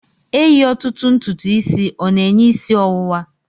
Eyi otutu ntutu isi o'na-enye isi ọwụwa?